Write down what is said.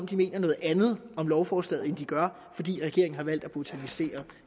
de mener noget andet om lovforslaget end de gør fordi regeringen har valgt at botanisere